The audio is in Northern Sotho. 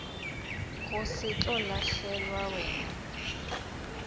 go se tlo lahlelwa wena